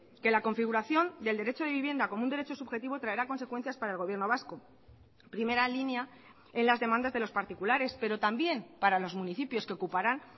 que la configuración del derecho de vivienda como un derecho subjetivo traerá consecuencias para el gobierno vasco primera línea en las demandas de los particulares pero también para los municipios que ocuparán